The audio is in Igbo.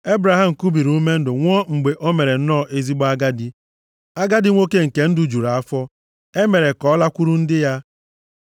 Ebraham kubiri ume ndụ nwụọ mgbe o mere nnọọ ezigbo agadi, agadi nwoke nke ndụ juru afọ, e mere ka ọ lakwuru ndị ya.